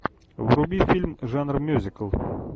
вруби фильм жанр мюзикл